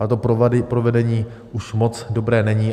Ale to provedení už moc dobré není.